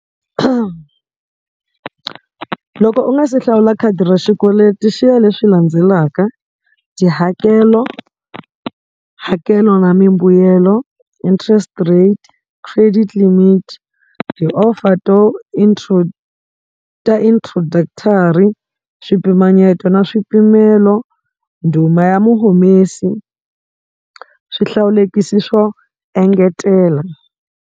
Loko u nga se hlawula khadi ra xikweleti xi ya leswi landzelaka tihakelo hakelo na mimbuyelo interest rate credit limit ti-offer to ta introductory swipimanyeto na swipimelo nduma ya muhumesi swihlawulekisi swo engetela.